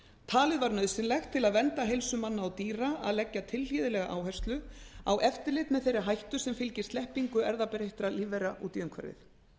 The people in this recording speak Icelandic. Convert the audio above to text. talið var nauðsynlegt til að vernda heilsu manna og dýra að leggja tilhlýðilega áherslu á eftirlit með þeirri hættu sem fylgir sleppingu erfðabreyttra lífvera út í umhverfið